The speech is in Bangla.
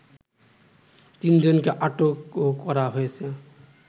তিনজনকে আটকও করা হয়েছে